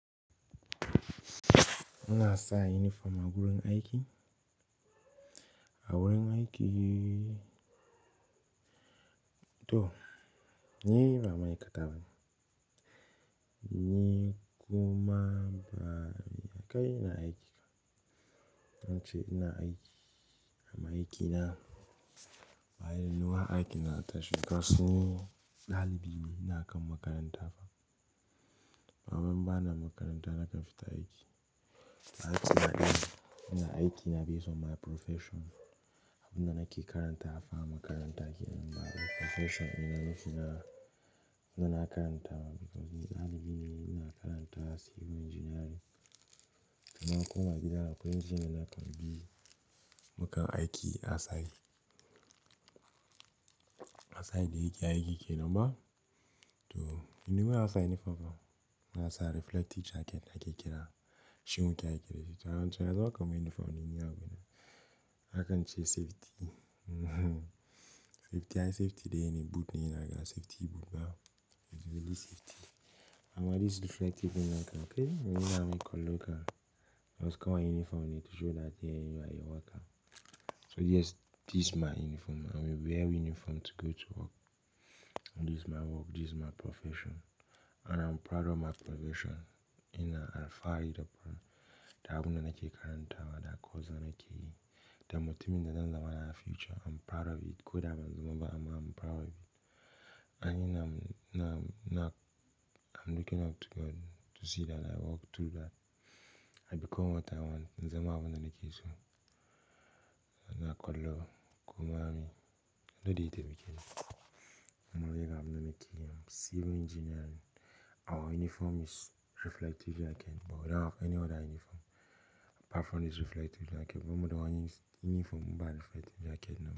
Ina sa uniform a gurin aiki. A wurin aiki, to ni ba mayika tamani. Ni kuma ba kai ina aiki. Zance ina aiki, amma aiki na, baya yuwa aikin kasan ni ɗalibi ne ina kan makaranta amma in bana makaranta nakan fita aiki. Na ce ina aiki na be some my profession. Abin da nake karanta fa a makaranta kenan ba. Profession ɗina nufina, abin da nake karantawa because ni ɗalibi ne, ina karanta civil engineering. Da na koma gida, akwai injin ina kan bi, mukan aiki a tsari. A safe da yake aiki kenan ba. To bana a safe nifa fa. Ina sa reflective jacket ake kira. Shin ku ki ake kira shi. Don cewa za ka mai uniform dai, ina gani. Hakan ce safety. Safety ai safety dai ne boot ne ina ga safety boot ba. It's really safety. Amma this reflective nakan kai, ina mi kan loka. Wasu kawai uniform ne to show that eh you are a worker. So yes, this my uniform. I will wear uniform to go to work. And this my work, this my profession and I'm proud of my profession. Ina alfahari da kuma da abin da nake karantawa, da course da nake yi, da matumin da zan zama na future. I'm proud of it. Ko da ban zama ba amma I'm proud of it. A ina m-- na, na I'm looking up to God to see that I walk through that. I become what I want. In zama abin da nake so. Na kallo, kuma mi, lodde ita bikin. Amma wai ga abin da nake yi. Civil engineering, our uniform is reflective jacket but we don't have any other uniform apart from this reflective jacket. Bamu da wani uniform in ba reflective jacket na.